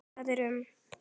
Það er um